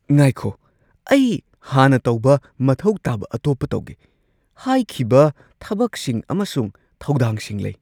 ꯉꯥꯏꯈꯣ, ꯑꯩ ꯍꯥꯟꯅ ꯇꯧꯕ ꯃꯊꯧ ꯇꯥꯕ ꯑꯇꯣꯞꯄ ꯇꯧꯒꯦ ꯍꯥꯏꯈꯤꯕ ꯊꯕꯛꯁꯤꯡ ꯑꯃꯁꯨꯡ ꯊꯧꯗꯥꯡꯁꯤꯡ ꯂꯩ꯫